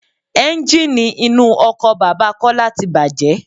Ẹ́ńjíìnì inú ọkọ̀ bàbà Kọ́lá tí bàjé.